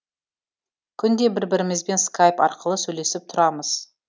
күнде бір бірімізбен скайп арқылы сөйлесіп тұрамыз